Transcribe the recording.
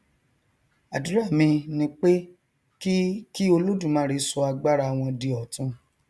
àdúrà mi ni pé kí kí olódùmarè sọ agbára wọn di ọtun